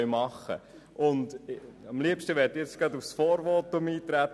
Ich verzichte darauf, auf das Vorvotum einzutreten.